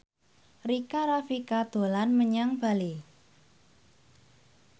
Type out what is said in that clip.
Rika Rafika dolan menyang Bali